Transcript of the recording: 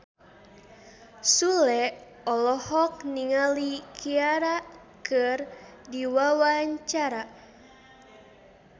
Sule olohok ningali Ciara keur diwawancara